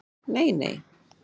Nei, nei?